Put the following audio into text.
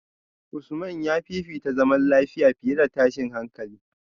Usman ya fifita zaman lafiya fiye da tashin hankali